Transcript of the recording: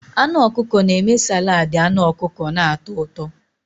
Anụ ọkụkọ na-eme saladi anu ọkụkọ na-atọ ụtọ.